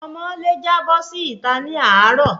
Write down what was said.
Ọmọ lè jábọ́ sí ita ni àárò